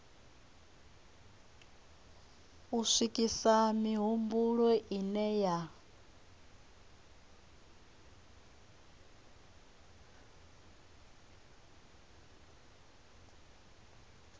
u swikisa mihumbulo ine ya